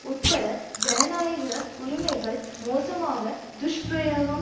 உட்பட ஜனாநாயக உரிமைகள் மோசமாக துஷ்பிரயோகம்